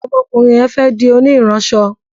ómó okurin yén fé di oni iranso